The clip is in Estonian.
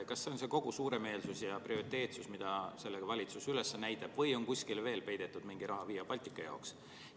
Kas see on kogu suuremeelsus ja prioriteetsus, mida valitsus üles näitab, või on kuskile veel peidetud mingi raha Via Baltica jaoks?